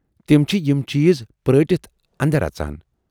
تِم چھِ یِم چیز پرٲٹِتھ اندر اَژان۔